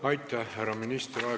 Aitäh, härra minister!